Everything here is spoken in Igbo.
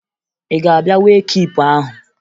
Ị ga-abịa wee kiipu ahụ?